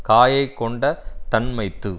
காயைக் கொண்ட தன்மைத்து